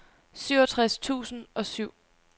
syvogtres tusind og syv